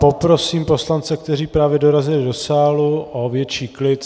Poprosím poslance, kteří právě dorazili do sálu, o větší klid.